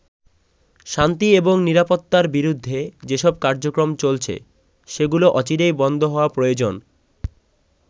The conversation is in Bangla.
শান্তি এবং নিরাপত্তার বিরুদ্ধে যেসব কার্যক্রম চলছে সেগুলো অচিরেই বন্ধ হওয়া প্রয়োজন।